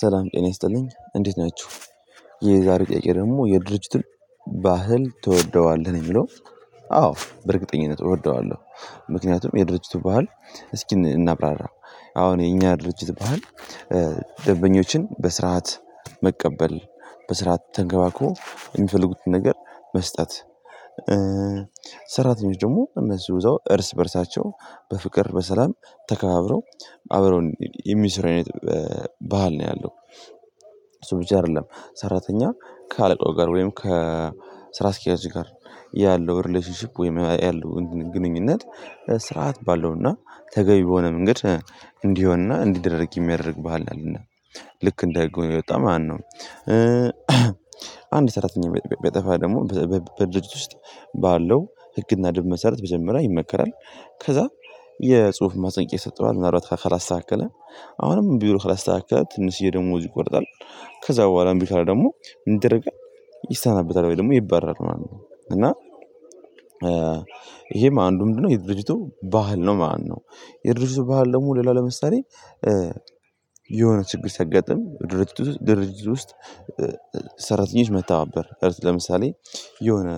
ሰላም ጤና ይስጥልኝ እንዴት ናችሁ። የዛሬው ጥያቄ ደግሞ የድርጅቱን ባህል ትወደዋለህ? የሚለው አዎ በእርግጠኝነት እወደዋለሁ። ምክንያቱም የድርጅቱ ባህል። እስኪ እናብራራ። አሁን የኛ ድርጅት ባህል። ደንበኞችን በስርዓት መቀበል በስርዓት ተንከባክቦ የሚፈልጉትን ነገር መስጠት። ሰራተኞች ደግሞ እነሱ እዛው እርስ በእርሳቸው በፍቅር በሰላም ተከባብረው አብረው የሚሰሩ አይነት ባህል ነው ያለው። እሱ ብቻ አይደለም ሰራተኛ ካአለቃው ጋር ወይም ከስራ አስኪያጅ ጋር ያለው ሪሌሽንሺፕ ወይም ያለው ግንኙነት። ስርዓት ባለውና ተገቢ በሆነ መንገድ እንዲሆንና እንዲደረግ የሚያደርግ ባህል ነው ያለነ። ልክ እንደህግ ሆኖ የወጣ ማለው ነው። አንድ ሰራተኛ ቢያጠፋ ደግሞ በድርጅት ውስጥ ባለው ህግና ደምብ መሰረት መጀመሪያ ይመከራል። ከዛ የጽሁፍ ማስጠንቀቂያ ይሰጠዋል ማን አልባት ካላስተካከለ። አሁንም ቢሆል ካላስተካከለ ትንሽዬ ደሞዙ ይቆረጣል። ከዛ በኋላ እንቢ ካለ ደግሞ ምን ይደረጋል? ይሰናበታል ወይ ደግሞ ይባረራል ማለት ነው። እና ይሄም አንዱ ምንድነው የድርጅቱ ባህል ነው ማለት ነው። የድርጅቱ ባህል ደግሞ ሌላ ለመሳለኝ። የሆነ ችግር ሲያጋጥም ድርጅት ውስጥ ሰራተኞች መታባበር እርስ ለምሳሌ የሆነ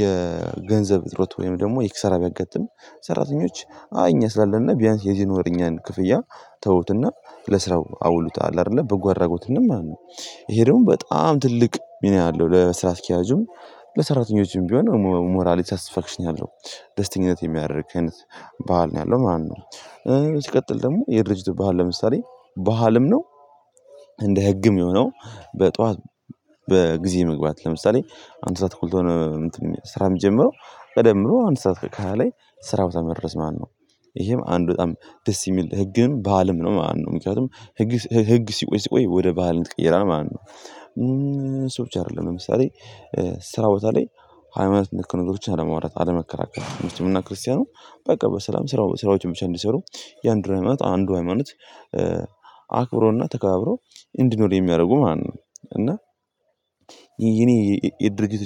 የገንዘብ እጥርት ወይም ደግሞ የኪሳራ ቢያጋጥም። ሰራተኞች አይ እኛ ስላለና ቢያንስ የዚህን ወር የኛን ክፍያ ተውትና ለስራው አውሉት አለ አይደለ በጎ አድራጎት ማለት ነው። ይሄ ደግሞ በጣም ትልቅ ሚና አለው ለስራ አስኪያጁም ለሰራተኞችም ቢሆን ሞራሊ ሳትስፋክሽን ያለው ደስተኛነት የሚያደርግ አይነት ባህል ነው ያለው ማለት ነው። ሲቀጥለው ደግሞ የድርጅቱ ባህል ለምሳሌ ባህልም ነው። እንደ ህግም የሆነው በጠዋት በጊዜ መግባት ለምሳሌ አንድ ሰዓት ተኩል ከሆን። ስራ የሚጀምረው ቀደም ብሎ አንድ ሰዓት ከሃያ ላይ ስራው ቦታ መድረስ። ይሄም አንድ በጣም ደስ የሚል ህግም ባህልም ነው ማለትነው ምክንያቱም ህግ ሲቆይ ሲቆይ ወደ ባህል ይቀየራል ማለትነው። ሰዎች አይደለም ለምሳሌ ስራ ቦታ ላይ ሃይማኖት ነክ ነገሮችን አለማውራት አለመከራከር እና ሙስሊሙ ክርስቲያኑ በቃ በሰላም ስራው ስራዎችን ብቻ እንዲሰሩ የአንድ ሃይማኖት አንድ ሃይማኖት አክብሮና ተከካብሮ እንዲኖር የሚያደርጉ ማለት ነው። እና የድርጅት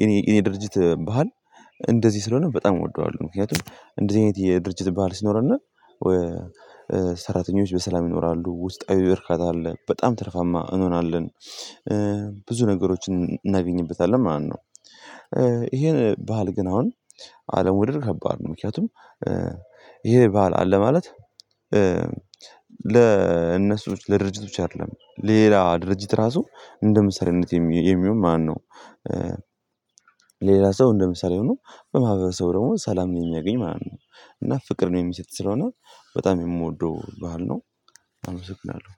የኔ የኔ ድርጅት ባህል እንደዚህ ስለሆነ በጣም እወደዋለሁ። ምክንያቱም እንደዚህ አይነት የድርጅት ባህል ሲኖርነ። ሰራተኞች በሰላም ይኖራሉ ውስጣዊ በርካታ አለ በጣም ትርፋማ እንሆናለን። ብዙ ነገሮችን እናገኝበታለን ማለት ነው። ይሄን ባህል ግን አሁን አለመውደድ ከባድ ነው ምክንያቱም። ይሄ ባህል አለ ማለት። ለእነሱ ለድርጅቶች አይደለም ሌላ ድርጅት ራሱ እንደምሳሌነት የሚሆን ማለት ነው። ሌላ ሰው እንደምሳሌ ሆኖ በማህበረሰቡ ደግሞ ሰላም ነኝ ያገኝ ማለት ነው። እና ፍቅር ነው የሚሰጥ ስለሆነ በጣም የምወደው ባህል ነው። አመሰግናለሁ።